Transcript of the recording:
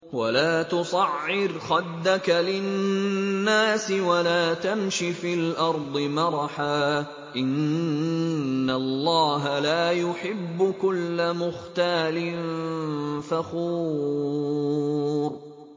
وَلَا تُصَعِّرْ خَدَّكَ لِلنَّاسِ وَلَا تَمْشِ فِي الْأَرْضِ مَرَحًا ۖ إِنَّ اللَّهَ لَا يُحِبُّ كُلَّ مُخْتَالٍ فَخُورٍ